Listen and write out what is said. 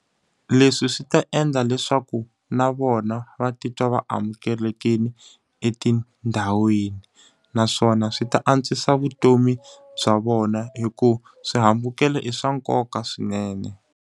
Leswi swi ta endla leswaku na vona va titwa va amukelekile etindhawini, naswona swi ta antswisa vutomi bya vona hikuva swihambukelo i swa nkoka swinene.